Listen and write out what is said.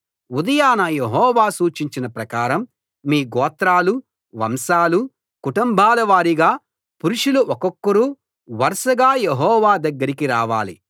ఉదయాన యెహోవా సూచించిన ప్రకారం మీ గోత్రాలు వంశాలు కుటుంబాల వారీగా పురుషులు ఒక్కొక్కరు వరుసగా యెహోవా దగ్గరికి రావాలి